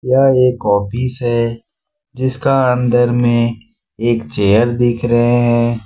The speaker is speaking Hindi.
यह एक ऑफिस है जिसका अंदर में एक चेयर दिख रहे है।